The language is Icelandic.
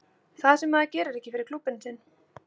Það sem að maður gerir ekki fyrir klúbbinn sinn.